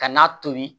Ka n'a tobi